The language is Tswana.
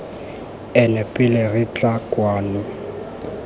ene pele re tla kwano